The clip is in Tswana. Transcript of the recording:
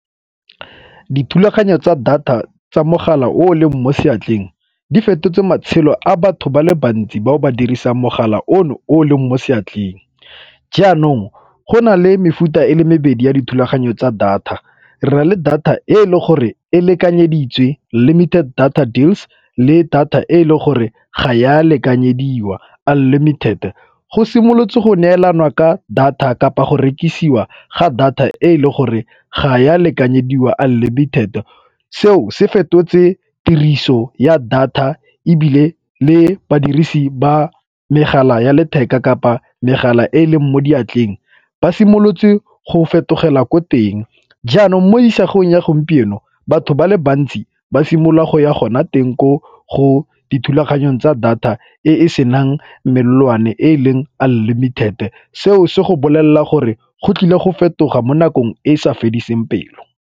Dithulaganyo tsa data tsa mogala o o leng mo seatleng di fetotse matshelo a batho ba le bantsi bao ba dirisang mogala ono o o leng mo seatleng. Jaanong go na le mefuta e le mebedi ya dithulaganyo tsa data re na le data e e le gore e lekanyeditswe limited data deals le data e le gore ga e a lekanyediwa unlimited. Go simolotse go neelana ka data kapa go rekisiwa ga data e le gore ga e a lekanyediwa unlimited. Seo se fetotse tiriso ya data ebile le badirisi ba megala ya letheka kapa megala e e leng mo diatleng ba simolotse go fetogela ko teng. Jaanong mo isagong ya gompieno batho ba le bantsi ba simolola go ya gona teng ko go dithulaganyong tsa data e e senang melelwane e e leng unlimited, seo se go bolelela gore go tlile go fetoga mo nakong e e sa fediseng pelo.